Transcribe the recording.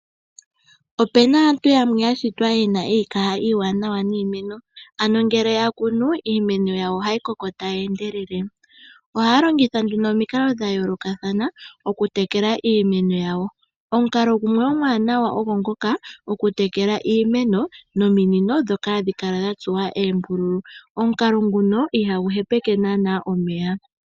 Ope na aantu yamwe yashitwa yena iikaha iiwanawa niimeno ano ngele ya kunu iimeno yawo ohayi koko tayi endelele. Ohaya longitha nduno omikalo dha yoolokathana okutekela iimeno yawo. Omukalo gumwe omwaanawa ogo ngoka okutekela iimeno nominino ndhoka hadhi kala dha tsuwa oombululu. Omukalo nguno ihagu hepeke naanaa omeya.